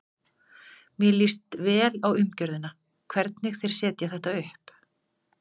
Mér líst vel á umgjörðina, hvernig þeir setja þetta upp.